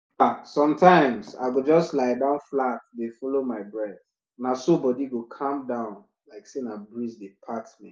ah sometimes i go just lie down flat dey follow my breath—na so body go calm like say breeze dey pat me.